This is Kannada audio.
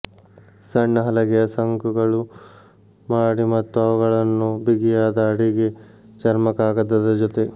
ಸಣ್ಣ ಹಲಗೆಯ ಶಂಕುಗಳು ಮಾಡಿ ಮತ್ತು ಅವುಗಳನ್ನು ಬಿಗಿಯಾದ ಅಡಿಗೆ ಚರ್ಮಕಾಗದದ ಜೊತೆ